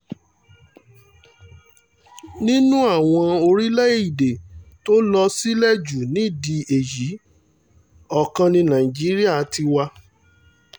nínú àwọn orílẹ̀-èdè tó lọ sílẹ̀ jù nídìí èyí ọ̀kan ní nàìjíríà tiwa